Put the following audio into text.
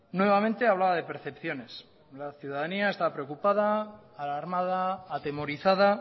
nuevamente hablaba de percepciones la ciudadanía está preocupada alarmada atemorizada